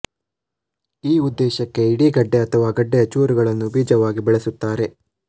ಈ ಉದೇಶಕ್ಕೆ ಇಡೀ ಗೆಡ್ಡೆ ಅಥವಾ ಗೆಡ್ಡೆಯ ಚೂರುಗಳನ್ನು ಬೀಜವಾಗಿ ಬಳಸುತ್ತಾರೆ